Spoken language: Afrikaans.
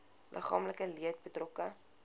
liggaamlike leed betrokke